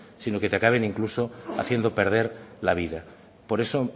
sino que te acaben incluso haciendo perder la vida por eso